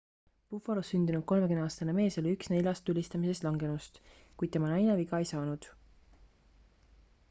buffalos sündinud 30aastane mees oli üks neljast tulistamises langenust kuid tema naine viga ei saanud